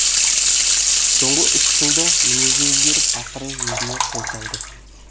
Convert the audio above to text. соңғы үш жылда мінезі өзгеріп ақыры өзіне қол салды